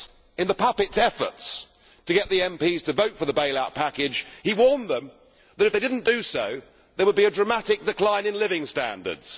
In the puppet's efforts to get the MPs to vote for the bail out package he warned them that if they did not do so there would be a dramatic decline in living standards.